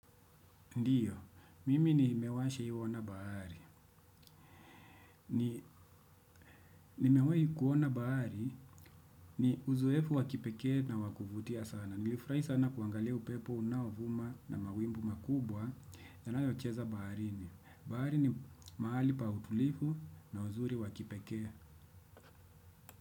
Ndiyo, mimi nimewa shai iona bahari. Nimewai kuona bahari, ni uzoefu wa kipeke na wa kuvutia sana. Nilifurai sana kuangalia upepo, unaovuma na mawimbi makubwa. Yanayocheza baharini. Bahari ni mahali pa utulifu na uzuri wakipeke.